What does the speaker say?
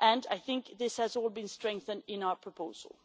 I think this has all been strengthened in our proposal.